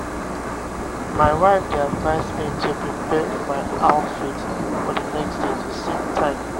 my wife dey advise me to prepare my outfit for the next day to save time.